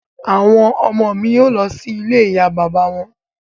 Àwọn ọmọ ọ̀ mi lọ sí ilé ìyá bàbá wọn